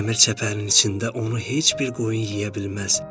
Dəmir çəpərin içində onu heç bir qoyun yeyə bilməz.